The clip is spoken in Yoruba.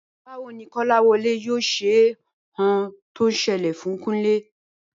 Báwo ni Kó̩láwo̩lé yóò se ohun tó selè fún Kúnlé?